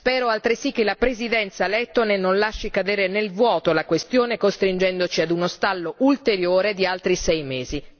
Spero altresì che la Presidenza lettone non lasci cadere nel vuoto la questione costringendoci a uno stallo ulteriore di altri sei mesi.